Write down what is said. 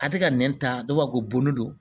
A tɛ ka nɛn ta ne b'a fɔ ko bon ne don